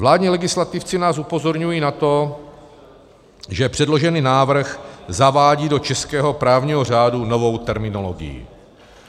Vládní legislativci nás upozorňují na to, že předložený návrh zavádí do českého právního řádu novou terminologii.